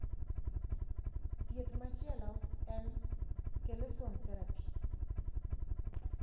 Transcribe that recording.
Thieth machielo en chelation therapy.